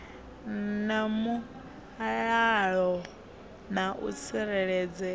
na mulalo na u tsireledzea